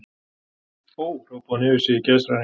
Ó, hrópaði hún upp yfir sig í geðshræringu.